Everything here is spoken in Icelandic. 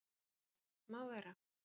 SIGURÐUR: Má vera.